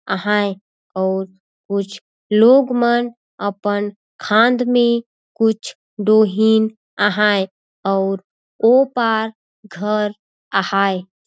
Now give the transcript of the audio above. आहाय अउर कुछ लोग मन अपन खांद में कुछ डोहिन आहाय अउर ओ पार घर हवे--